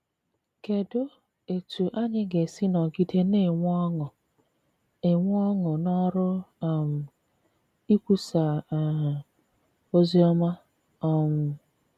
Kedụ etú anyị ga esi nọgide na - enwe ọṅụ - enwe ọṅụ n’ọrụ um ikwusa um ozi ọma um?